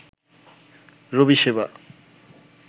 রবি সেবা